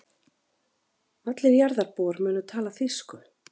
Allir jarðarbúar munu tala þýsku.